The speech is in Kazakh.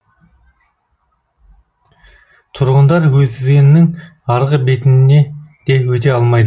тұрғындар өзеннің арғы бетіне де өте алмайды